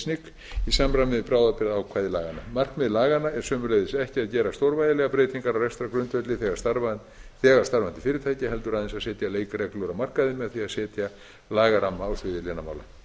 isnic í samræmi með bráðabirgðaákvæði laganna markmið laganna er sömuleiðis ekki að gera stórvægilegar breytingar á rekstrargrundvelli þegar starfandi fyrirtækja heldur aðeins að setja leikreglur á markaði með því að setja lagaramma á sviði lénamála